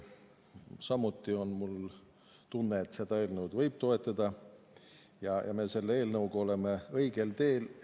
Mul on samuti tunne, et seda eelnõu võib toetada ja et me oleme selle eelnõuga õigel teel.